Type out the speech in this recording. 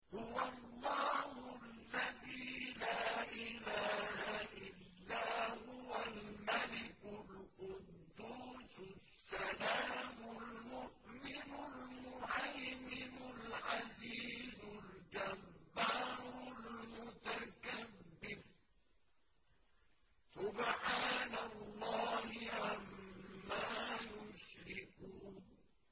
هُوَ اللَّهُ الَّذِي لَا إِلَٰهَ إِلَّا هُوَ الْمَلِكُ الْقُدُّوسُ السَّلَامُ الْمُؤْمِنُ الْمُهَيْمِنُ الْعَزِيزُ الْجَبَّارُ الْمُتَكَبِّرُ ۚ سُبْحَانَ اللَّهِ عَمَّا يُشْرِكُونَ